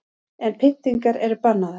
En pyntingar eru bannaðar